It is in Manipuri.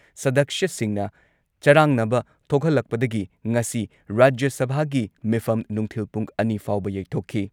ꯁꯗꯛꯁ꯭ꯌꯥꯁꯤꯡꯅ ꯆꯔꯥꯡꯅꯕ ꯊꯣꯛꯍꯜꯂꯛꯄꯗꯒꯤ ꯉꯁꯤ ꯔꯥꯖ꯭ꯌ ꯁꯚꯥꯒꯤ ꯃꯤꯐꯝ ꯅꯨꯡꯊꯤꯜ ꯄꯨꯡ ꯑꯅꯤ ꯐꯥꯎꯕ ꯌꯩꯊꯣꯛꯈꯤ